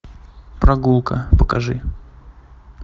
прогулка покажи